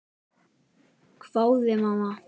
hváði mamma.